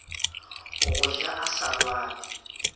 go ja a sa lwale